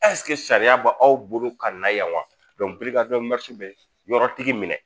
sariya b' aw bolo ka na yan wa bɛ yɔrɔtigi minɛ